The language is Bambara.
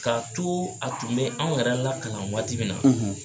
Ka to a tun bɛ anw yɛrɛ lakalan waati min na